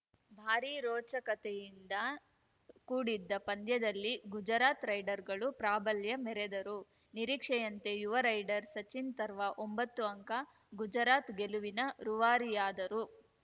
ಭಾರೀ ರೋಚಕತೆಯಿಂದ ಕೂಡಿದ್ದ ಪಂದ್ಯದಲ್ಲಿ ಗುಜರಾತ್‌ ರೈಡರ್‌ಗಳು ಪ್ರಾಬಲ್ಯ ಮೆರೆದರು ನಿರೀಕ್ಷೆಯಂತೆ ಯುವ ರೈಡರ್ ಸಚಿನ್‌ ತರ್ವ ಒಂಬತ್ತು ಅಂಕ ಗುಜರಾತ್‌ ಗೆಲುವಿನ ರೂವಾರಿಯಾದರು